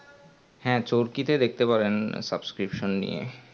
হ্যাঁ চরকি তে দেখতে পারেন susbcription নিয়ে